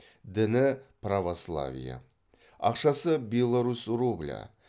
діні православие ақшасы беларусь рублі